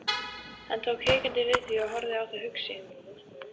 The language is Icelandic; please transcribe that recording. Hann tók hikandi við því og horfði á það hugsi.